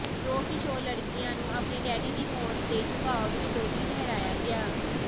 ਦੋ ਕਿਸ਼ੋਰ ਲੜਕਿਆਂ ਨੂੰ ਆਪਣੇ ਡੈਡੀ ਦੀ ਮੌਤ ਦੇ ਝੁਕਾਅ ਵਿੱਚ ਦੋਸ਼ੀ ਠਹਿਰਾਇਆ ਗਿਆ